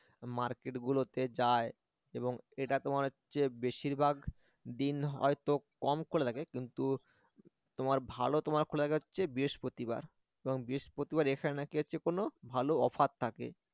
market গুলোতে যায় এবং এটা তোমার হচ্ছে বেশিরভাগ দিন হয়তো কম খোলা থাকে কিন্তু তোমার ভালো তোমার খোলা থাকে হচ্ছে বৃহস্পতিবার কারণ বৃহস্পতিবার এখানে নাকি হচ্ছে কোনো ভালো offer থাকে